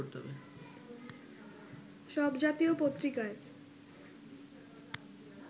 সব জাতীয় পত্রিকায়